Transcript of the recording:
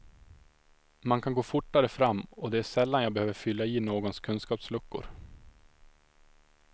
Man kan gå fortare fram, och det är sällan jag behöver fylla i någons kunskapsluckor.